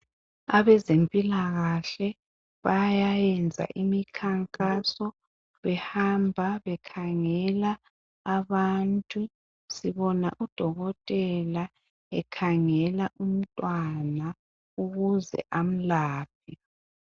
Abezempilakahle bayayenza imikhankaso behamba bekhangela abantu. Sibona udokotela ekhangela umntwana ukuze amlaphe.